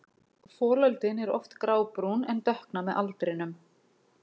Folöldin eru oft grábrún en dökkna með aldrinum.